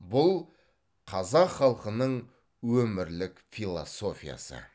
бұл қазақ халқының өмірлік философиясы